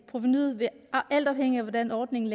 provenuet vil alt afhængigt af hvordan ordningen